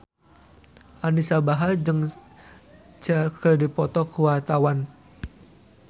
Anisa Bahar jeung Cher keur dipoto ku wartawan